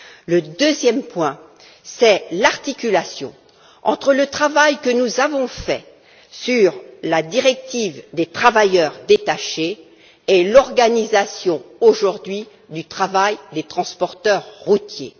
Le deuxième point, c'est l'articulation entre le travail que nous avons mené sur la directive sur les travailleurs détachés et l'organisation, aujourd'hui, du travail des transporteurs routiers.